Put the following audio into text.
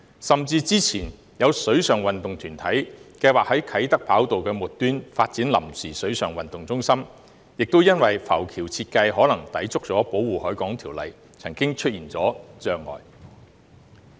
甚至之前有水上運動團體計劃在啟德跑道的末端發展臨時水上運動中心，亦因為浮橋設計可能抵觸《條例》，曾經出現障礙。